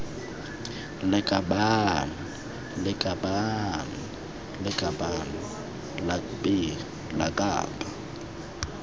lakabaaan lakabaaan lakaban lakbi lakab